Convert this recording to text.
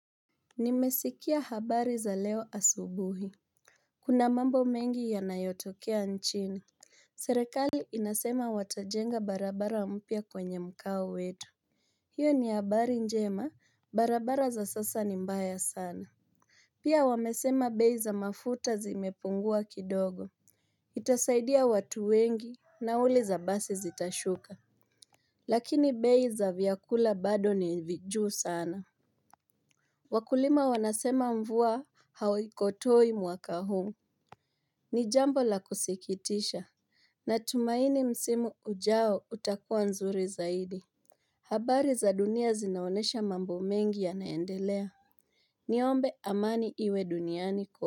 Nimesikia habari za leo asubuhi Kuna mambo mengi yanayotokea nchini Serekali inasema watajenga barabara mpya kwenye mkao wetu hiyo ni habari njema barabara za sasa ni mbaya sana Pia wamesema bei za mafuta zimepungua kidogo Itasaidia watu wengi nauli za basi zitashuka Lakini bei za vyakula bado ni vijuu sana Wakulima wanasema mvua hawaikotoi mwaka huu ni jambo la kusikitisha na tumaini msimu ujao utakuwa nzuri zaidi habari za dunia zinaonesha mambo mengi yanaendelea Niombe amani iwe duniani kwa.